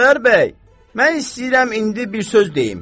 Xudayar bəy, mən istəyirəm indi bir söz deyim.